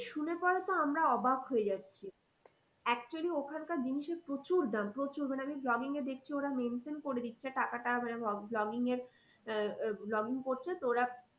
শুনে পরে তো আমরা অবাক হয়ে যাচ্ছি। actually ওখানকার জিনিসের প্রচুর দাম প্রচুর মানে আমি vlogging এ দেখছি ওরা mention করে দিচ্ছে টাকাটা মানে vlogging এ আহ vlogging করছে তো ওরা